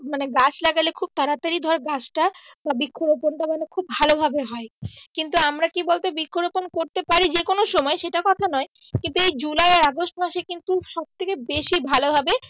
মানি গাছ লাগালে খুব তাড়াতাড়ি ধর গাছটা বা বৃক্ষ রোপনটা মানে খুব ভালো ভাবে হয় কিন্তু আমরা কি বলতো বৃক্ষ রোপন করতে পারি যেকোন সময় সেটা কথা নয় কিন্তু এই জুলাই আর আগষ্ট মাসে কিন্তু সব থেকে বেশি ভালোভাবে